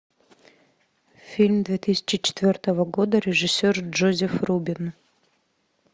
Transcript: фильм две тысячи четвертого года режиссер джозеф рубин